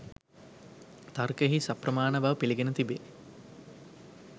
තර්කයෙහි සප්‍රමාණ බව පිළිගෙන තිබේ.